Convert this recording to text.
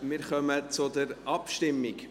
Wir kommen zur Abstimmung.